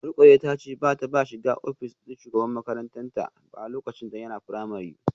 Rukayyah tace bata taba shiga office din shugaban makaranta dinta ba lokacin yana primary